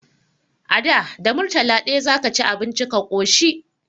A da, da murtala ɗaya za ka ci abinci ka ƙoshi.